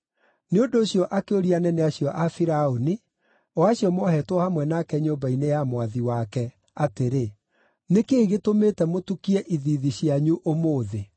Nĩ ũndũ ũcio akĩũria anene acio a Firaũni, o acio moohetwo hamwe nake nyũmba-inĩ ya mwathi wake, atĩrĩ, “Nĩ kĩĩ gĩtũmĩte mũtukie ithiithi cianyu ũmũthĩ?”